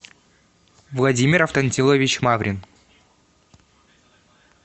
владимир афтантилович маврин